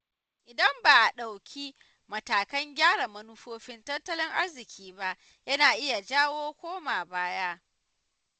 Idan ba a ɗauki matakan gyara manufofin tattalin arziki ba, yana iya jawo koma baya.